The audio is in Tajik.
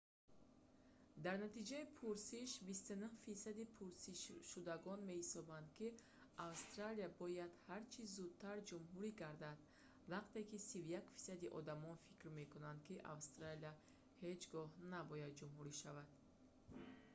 дар натиҷаи пурсиш 29 фисади пурсидашудагон меҳисобанд ки австралия бояд ҳарчӣ зудтар ҷумҳурӣ гардад вақте ки 31 фисади одамон фикр мекунанд ки австралия ҳеҷ гоҳ набояд ҷумҳурӣ шавад